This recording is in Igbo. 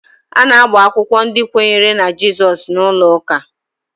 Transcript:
A na-agba akwụkwọ ndị kwenyere na Jizọs n'ụlọ ụka